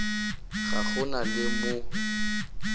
ga go na le mo